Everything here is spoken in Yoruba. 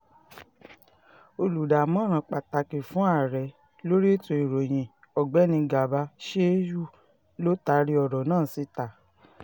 olùdámọ̀ràn pàtàkì fún ààrẹ lórí ètò ìròyìn ọ̀gbẹ́ni garba shehu ló taari ọ̀rọ̀ náà síta